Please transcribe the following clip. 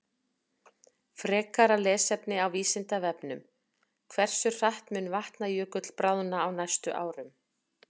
Frekara lesefni á Vísindavefnum: Hversu hratt mun Vatnajökull bráðna á næstu árum?